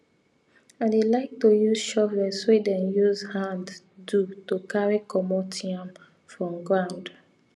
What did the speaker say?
i dey like to use shovels wey dem use hand do to carry comot yam from ground